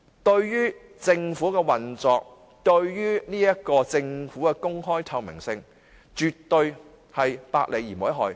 對於政府的運作、對於政府的公開透明性，絕對百利而無一害。